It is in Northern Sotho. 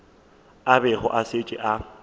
a bego a šetše a